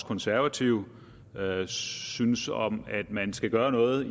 konservative synes om at man skal gøre noget